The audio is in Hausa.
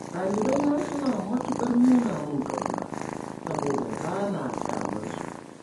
Ɗalibaina suna matuƙar nuna mun ƙauna, saboda ba na ƙyamar su.